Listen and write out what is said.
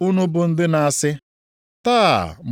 anya nwa oge nta, nke ikuku na-emesịa bufuo.